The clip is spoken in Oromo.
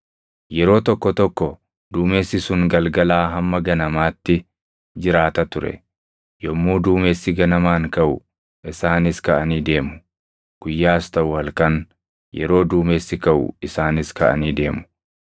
Yeroo tokko tokko duumessi sun galgalaa hamma ganamaatti jiraata ture; yommuu duumessi ganamaan kaʼu isaanis kaʼanii deemu. Guyyaas taʼu halkan, yeroo duumessi kaʼu isaanis kaʼanii deemu.